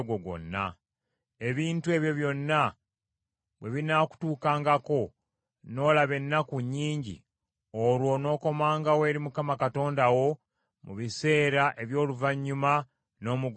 Ebintu ebyo byonna bwe binaakutuukangako n’olaba ennaku nnyingi, olwo onookomangawo eri Mukama Katonda wo mu biseera eby’oluvannyuma, n’omugonderanga.